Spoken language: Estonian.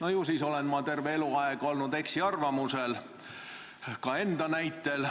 Ju siis olen ma terve eluaeg olnud eksiarvamusel, ka enda näitel.